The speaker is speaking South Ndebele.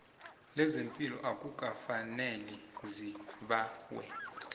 lezepilo akukafaneli zibawe